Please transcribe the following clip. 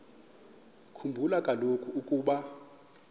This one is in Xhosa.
khumbula kaloku ukuba